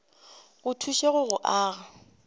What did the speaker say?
go thuše go o aga